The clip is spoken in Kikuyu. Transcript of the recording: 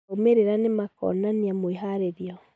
Maumerera nĩ makaonania mwĩharĩrio